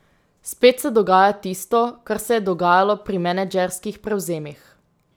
Spet se dogaja tisto, kar se je dogajalo pri menedžerskih prevzemih.